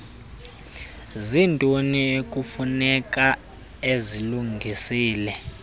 ziintoni ekufuneka ezilungisile